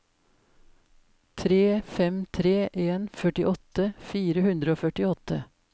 tre fem tre en førtiåtte fire hundre og førtiåtte